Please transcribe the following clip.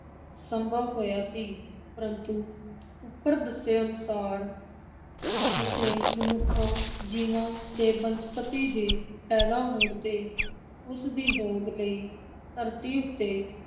ਸੰਭਵ ਹੋਇਆ ਸੀ, ਪਰੰਤੂ ਉੱਪਰ ਦੱਸੇ ਅਨੁਸਾਰ ਜਿੱਥੇ ਮਨੁੱਖਾਂ ਜੀਵਾਂ ਤੇ ਬਨਸਪਤੀ ਦੇ ਪੈਦਾ ਹੋਣ ਤੇ ਉਸਦੀ ਹੋਂਦ ਲਈ ਧਰਤੀ ਉੱਤੇ